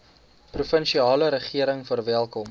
provinsiale regering verwelkom